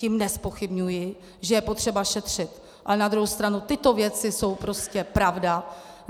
Tím nezpochybňuji, že je potřeba šetřit, ale na druhou stranu tyto věci jsou prostě pravda.